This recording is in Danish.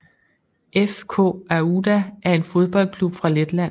FK Auda er en fodboldklub fra Letland